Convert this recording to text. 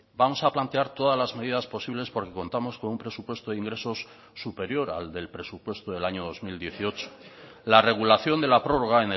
vamos a plantear todas las medidas posibles porque contamos con un presupuesto de ingresos superior al del presupuesto del año dos mil dieciocho la regulación de la prórroga